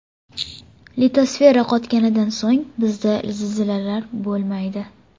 Litosfera qotganidan so‘ng bizda zilzilalar bo‘lmaydi.